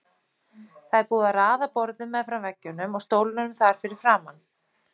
Það er búið að raða borðum meðfram veggjunum og stólum þar fyrir framan.